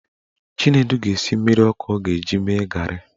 Chinedu ga-esi mmiri ọkụ ọ ga-eji mee garị